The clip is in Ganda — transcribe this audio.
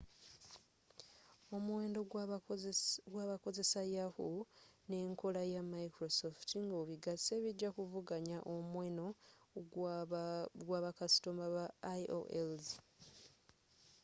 omuwendo gwabakozesa yahoo n'enkola ya microsft nga obigase bijja kuvuganya omuweno gwa ba kasitoma ba aol's